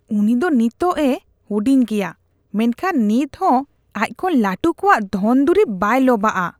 ᱩᱱᱤ ᱫᱚ ᱱᱤᱛᱚᱜ ᱮ ᱦᱩᱰᱤᱧ ᱜᱮᱭᱟ, ᱢᱮᱱᱠᱷᱟᱱ ᱱᱤᱛ ᱦᱚᱸ ᱟᱡᱽ ᱠᱷᱚᱱ ᱞᱟᱹᱴᱩ ᱠᱚᱣᱟᱜ ᱫᱷᱚᱱᱼᱫᱩᱨᱤᱵᱽ ᱵᱟᱭ ᱞᱚᱵᱷᱼᱟᱜᱼᱟ ᱾